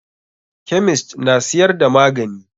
Kemist na siyar da magani.